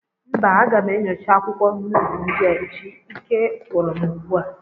Mba, aga m enyocha akwụkwọ nuuzu ndị a echi, ike gwụrụ m ugbu a